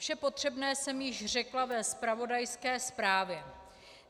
Vše potřebné jsem již řekla ve zpravodajské zprávě.